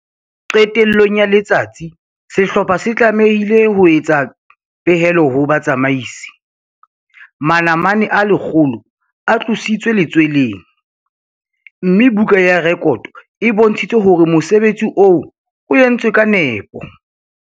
Qetellong ya letsatsi sehlopha se tlamehile ho etsa pehelo ho batsamaisi manamane a 100 a tlositswe letsweleng, mme buka ya rekoto e bontshitse hore mosebetsi oo o entswe ka nepo.